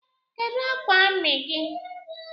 Kedu akwa ami gi?